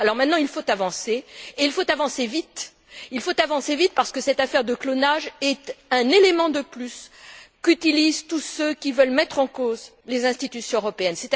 Alors maintenant il faut avancer, et il faut avancer vite parce que cette affaire de clonage est un élément de plus utilisé par tous ceux qui veulent mettre en cause les institutions européennes.